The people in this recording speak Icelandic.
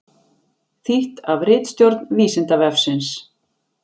Þýtt af ritstjórn Vísindavefsins.